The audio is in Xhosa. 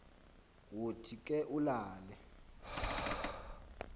wothi ke ulale